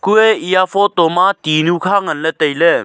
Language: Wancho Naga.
kue eya photo ma tinu kha ngan le taile.